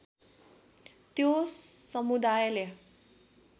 त्यो समुदायले